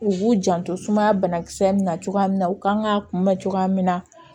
U b'u janto sumaya bana kisɛ min na cogoya min na u kan ka kunbɛn cogoya min na